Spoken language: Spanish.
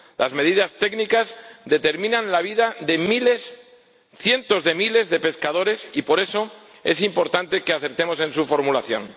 Las medidas técnicas determinan la vida de cientos de miles de pescadores y, por eso, es importante que acertemos en su formulación.